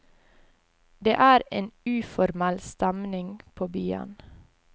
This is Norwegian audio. Det er en uformell stemning på byen.